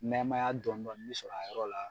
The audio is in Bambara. Nɛɛmaya dɔni dɔni bɛ sɔrɔ a yɔrɔ la.